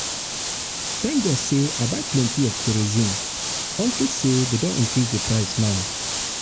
thank god say i buy plenty of kerosene unto say dey don increase the price um now